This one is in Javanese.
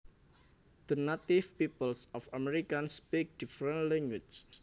The native peoples of America speak different languages